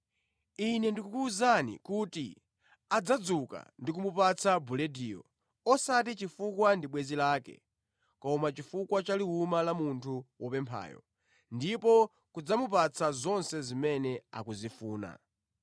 Ine ndikukuwuzani kuti adzadzuka ndi kumupatsa bulediyo, osati chifukwa ndi bwenzi lake, koma chifukwa cha liwuma la munthu wopemphayo, ndipo kudzamupatsa zonse zimene akuzifuna.